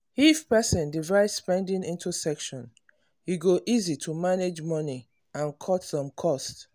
if person divide spending into section e go easy to manage money and cut some cost.